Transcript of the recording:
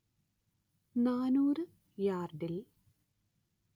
നാനൂറ് യാർഡിൽ